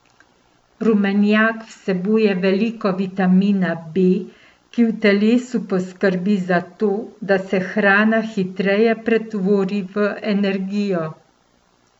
Rumenjak vsebuje veliko vitamina B, ki v telesu poskrbi za to, da se hrana hitreje pretvori v energijo.